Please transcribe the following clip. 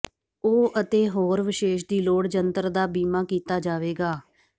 ਉਹ ਅਤੇ ਹੋਰ ਵਿਸ਼ੇਸ਼ ਦੀ ਲੋੜ ਜੰਤਰ ਦਾ ਬੀਮਾ ਕੀਤਾ ਜਾਵੇਗਾ